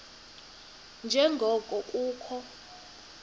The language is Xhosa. nje ngoko kukho